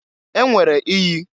E nwere iyi.